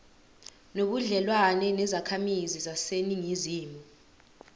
nobudlelwane nezakhamizi zaseningizimu